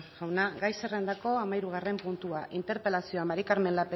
jauna gai zerrendako hamahirugarren puntua interpelazioa maría del